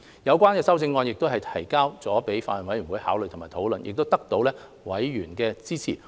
有關修正案均已提交法案委員會考慮及討論，並得到委員的支持。